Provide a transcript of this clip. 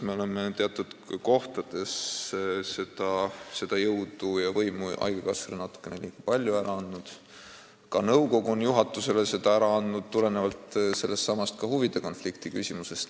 Me oleme teatud kohtades jõudu ja võimu haigekassale natukene liiga palju ära andnud, ka nõukogu on juhatusele seda ära andnud, tulenevalt ka sellestsamast huvide konflikti küsimusest.